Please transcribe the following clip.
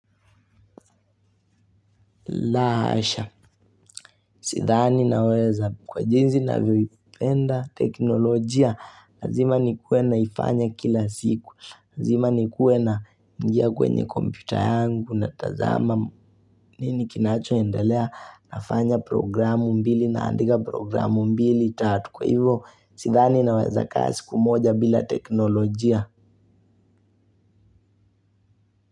La hasha, sithani naweza kwa jinzi ninavyoipenda teknolojia, lazima nikue naifanya kila siku. Lazima nikuwe naingia kwenye kompyuta yangu natazama nini kinachoendelea nafanya programu mbili naandika programu mbili tatu. Kwa hivo, sithani naweza kaa siku moja bila teknolojia.